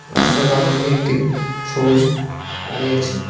রাস্তার বাম দিকে একটি সবুজ বাড়ি আছে।